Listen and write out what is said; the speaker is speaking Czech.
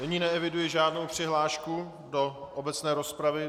Nyní neeviduji žádnou přihlášku do obecné rozpravy.